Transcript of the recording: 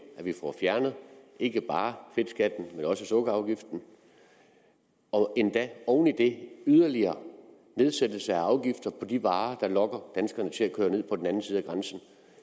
at vi får fjernet ikke bare fedtskatten men også sukkerafgiften og oven i det en yderligere nedsættelse af afgifter på de varer der lokker danskerne til at køre ned på den anden side af grænsen